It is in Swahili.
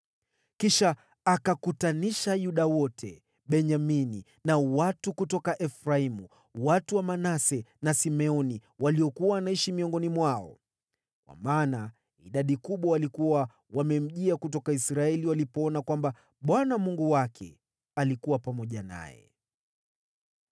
Kisha akakutanisha Yuda wote, Benyamini na watu kutoka Efraimu, watu wa Manase na Simeoni waliokuwa wanaishi miongoni mwao, kwa maana idadi kubwa walikuwa wamemjia kutoka Israeli walipoona kwamba Bwana Mungu wake alikuwa pamoja naye.